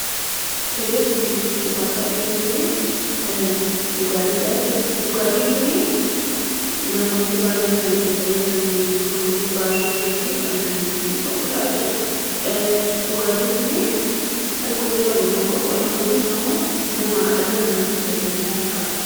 Suuraan as gubbaatti arginu kunii dhugaatiidha. Dhugaatiin kunii namoonni baay'een kan itti fayyadaman: namoota baay'ee birattis beeekamtii kan qabudha. Dhugaatiin kun alkoolii qaba moo hinqabu? Alkooliinsaa dhala namaatiif faayidaa maalii qaba?